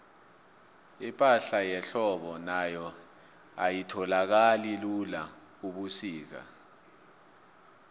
ipahla yehlobo nayo ayitholakali lula ubusika